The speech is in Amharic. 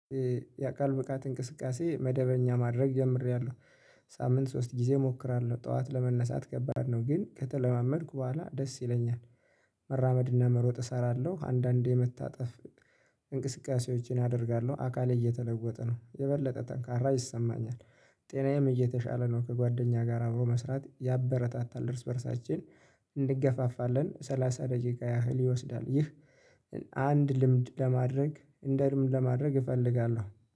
የአካል ብቃት እንቅስቃሴ መደበኛ ማድረግ ጀምሬያለሁ። ሳምንት ሶስት ጊዜ እሞክራለሁ ጠዋት ለመነሳት ከባድ ነው ግን ከተለማመድኩ በኋላ ደስ ይለኛል። መራመድና መሮጥ እሰራለሁ አንዳንዴ የምታጠፍ እንቅስቃሴዎችን አደርጋለሁ። አካሌ እየተለወጠ ነው የበለጠ ጠንካራ ይሰማኛል። ጤናዬም እየተሻለ ነው። ከጓደኛ ጋር አብሮ መስራት ያበረታታል እርስ በእርሳችን። እንገፋፋለን ሰላሳ ደቂቃ ያህል ይወስዳል ይህ። አንድ ልምድ ለማድረግ እንደልምድ ለማድረግ እፈልጋለሁ